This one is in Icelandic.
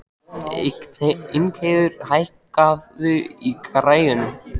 Ingheiður, hækkaðu í græjunum.